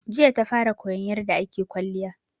Jiya ta fara koyan yarda ake kwalliya